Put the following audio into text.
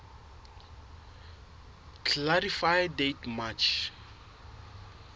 clarify date march